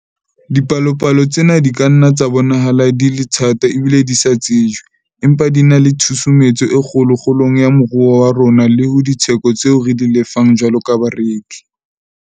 Dipalopalo tsena di ka nna tsa bonahala di le thata ebile di sa tsejwe, empa di na le tshusumetso e kgolo kgolong ya moruo wa rona le ho ditheko tseo re di lefang jwalo ka bareki.